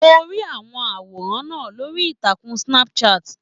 Mo rí i àwọn àwòrán náà lórí ìtàkùn Snapchat.